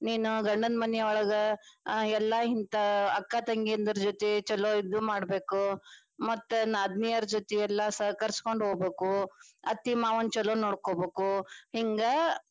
ನೀನು ಗಂಡನ ಮನಿಯೊಳಗ ಎಲ್ಲಾ ಹಿಂತಾ ಅಕ್ಕ ತಂಗಿಯಂದ್ರ ಜೊತಿ ಚೊಲೊ ಇದು ಮಾಡಬೇಕು, ಮತ್ತ ನಾದನಿಯರ ಜೊತಿ ಎಲ್ಲ ಸಹಕರಿಸಿಕೊಂಡ ಹೋಗ್ಬೇಕು ಅತ್ತಿ ಮಾವನ ಚೊಲೊ ನೋಡ್ಕೊಬೇಕ.